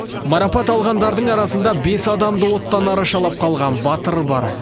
марапат алғандардың арасында бес адамды оттан арашалап қалған батыр бар